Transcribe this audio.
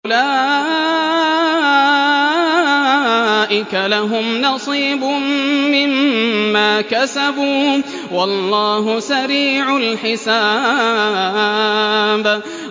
أُولَٰئِكَ لَهُمْ نَصِيبٌ مِّمَّا كَسَبُوا ۚ وَاللَّهُ سَرِيعُ الْحِسَابِ